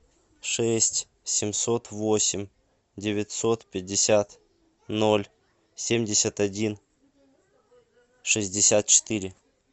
шесть семьсот восемь девятьсот пятьдесят ноль семьдесят один шестьдесят четыре